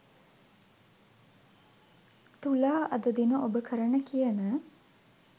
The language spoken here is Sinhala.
තුලා අද දින ඔබ කරන කියන